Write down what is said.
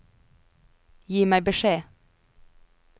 Gi meg beskjed